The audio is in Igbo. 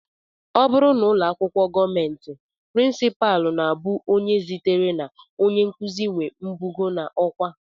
Ọ bụrụ n'ụlọakwụkwọ gọọmenti, prinsipal na-abụ onye sitere na onyenkụzi nwee mbugo n'ọkwá